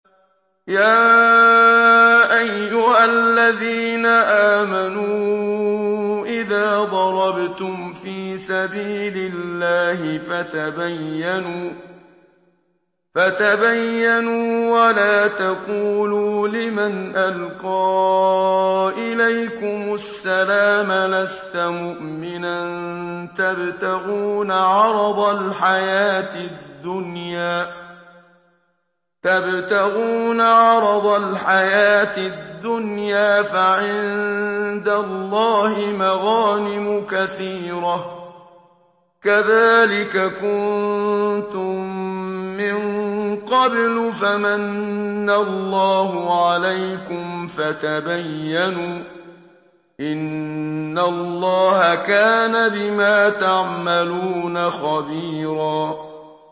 يَا أَيُّهَا الَّذِينَ آمَنُوا إِذَا ضَرَبْتُمْ فِي سَبِيلِ اللَّهِ فَتَبَيَّنُوا وَلَا تَقُولُوا لِمَنْ أَلْقَىٰ إِلَيْكُمُ السَّلَامَ لَسْتَ مُؤْمِنًا تَبْتَغُونَ عَرَضَ الْحَيَاةِ الدُّنْيَا فَعِندَ اللَّهِ مَغَانِمُ كَثِيرَةٌ ۚ كَذَٰلِكَ كُنتُم مِّن قَبْلُ فَمَنَّ اللَّهُ عَلَيْكُمْ فَتَبَيَّنُوا ۚ إِنَّ اللَّهَ كَانَ بِمَا تَعْمَلُونَ خَبِيرًا